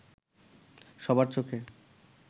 সবার চোখে